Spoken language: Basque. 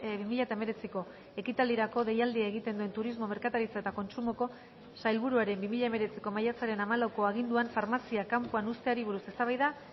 bi mila hemeretziko ekitaldirako deialdia egiten duen turismo merkataritza eta kontsumoko sailburuaren bi mila hemeretziko maiatzaren hamalauko aginduan farmaziak kanpoan uzteari buruz eztabaida